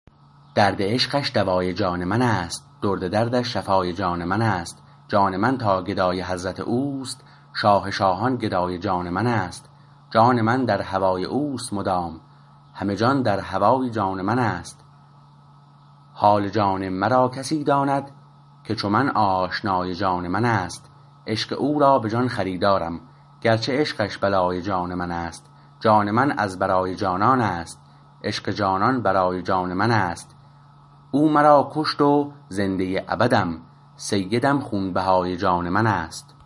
درد عشقش دوای جان من است درد دردش شفای جان من است جان من تا گدای حضرت اوست شاه شاهان گدای جان من است جان من در هوای اوست مدام همه جان در هوای جان من است حال جان مرا کسی داند که چو من آشنای جان من است عشق او را به جان خریدارم گرچه عشقش بلای جان من است جان من از برای جانان است عشق جانان برای جان من است او مرا کشت و زنده ابدم سیدم خونبهای جان من است